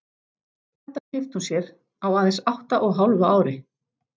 Þetta keypti hún sér á aðeins átta og hálfu ári.